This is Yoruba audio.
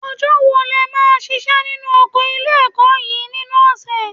Ọjọ́ wo lẹ máa ń ṣiṣẹ́ nínú oko ilé-ẹ̀kọ́ yín nínú ọ̀sẹ̀?